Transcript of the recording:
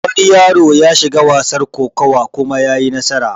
Wani yaro yashiga wasar kokuwa kuma yayi nasara